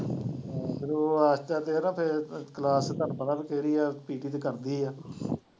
ਹਾਂ ਫਿਰ ਫਿਰ class ਤੇ ਤੁਹਾਨੂੰ ਪਤਾ ਵੀ ਕਿਹੜੀ ਹੈ ਕਰਦੀ ਹੈ